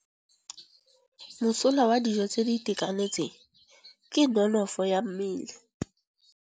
Mosola wa dijô tse di itekanetseng ke nonôfô ya mmele.